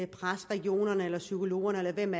presse regionerne eller psykologerne eller hvem